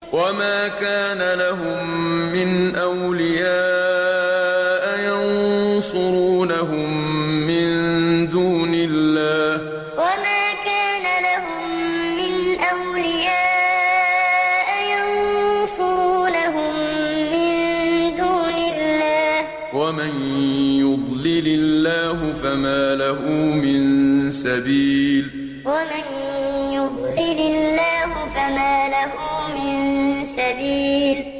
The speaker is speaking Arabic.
وَمَا كَانَ لَهُم مِّنْ أَوْلِيَاءَ يَنصُرُونَهُم مِّن دُونِ اللَّهِ ۗ وَمَن يُضْلِلِ اللَّهُ فَمَا لَهُ مِن سَبِيلٍ وَمَا كَانَ لَهُم مِّنْ أَوْلِيَاءَ يَنصُرُونَهُم مِّن دُونِ اللَّهِ ۗ وَمَن يُضْلِلِ اللَّهُ فَمَا لَهُ مِن سَبِيلٍ